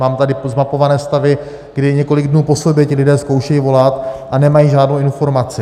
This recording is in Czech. Mám tady zmapované stavy, kdy několik dnů po sobě ti lidé zkoušejí volat a nemají žádnou informaci.